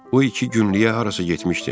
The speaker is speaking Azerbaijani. O iki günlük hara getmişdi.